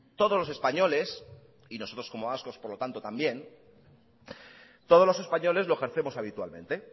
todos los españoles y nosotros como vascos por lo tanto también todos los españoles lo ejercemos habitualmente